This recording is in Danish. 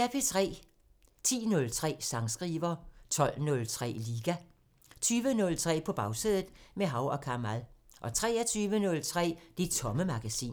10:03: Sangskriver 12:03: Liga 20:03: På Bagsædet – med Hav & Kamal 23:03: Det Tomme Magasin